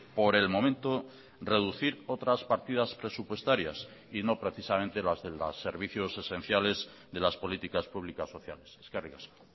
por el momento reducir otras partidas presupuestarias y no precisamente las de los servicios esenciales de las políticas públicas sociales eskerrik asko